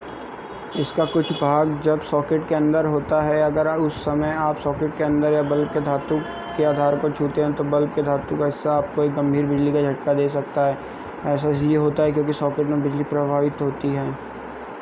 इसका कुछ भाग जब सॉकेट के अंदर होता है अगर उस समय आप सॉकेट के अंदर या बल्ब के धातु के आधार को छूते हैं तो बल्ब के धातु का हिस्सा आपको एक गंभीर बिजली का झटका दे सकता है ऐसा इसलिए होता है क्योंकि सॉकेट में बिजली प्रवाहित होती है